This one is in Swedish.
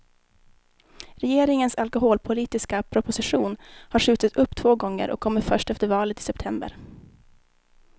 Regeringens alkoholpolitiska proposition har skjutits upp två gånger och kommer först efter valet i september.